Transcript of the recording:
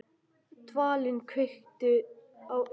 Dvalinn, kveiktu á sjónvarpinu.